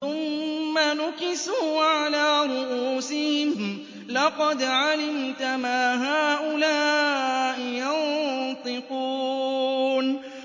ثُمَّ نُكِسُوا عَلَىٰ رُءُوسِهِمْ لَقَدْ عَلِمْتَ مَا هَٰؤُلَاءِ يَنطِقُونَ